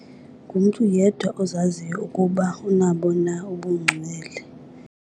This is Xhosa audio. Ngumntu yedwa ozaziyo ukuba unabo na ubungcwele.